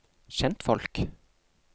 kjentfolk